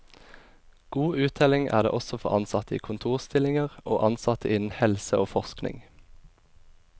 God uttelling er det også for ansatte i kontorstillinger og ansatte innen helse og forskning.